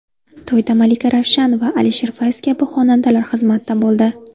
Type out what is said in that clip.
To‘yda Malika Ravshanova, Alisher Fayz kabi xonandalar xizmatda bo‘ldi.